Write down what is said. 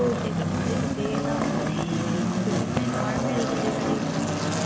সে একটা ঘরে ঢুকে গেলাম ওরে বাপরে ওটা মানে NormalDelivery র ঘর